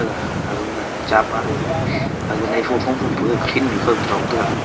ga agama chapa le gaga aga naipho phom phom pe kawkhen nu kho ke dong tega.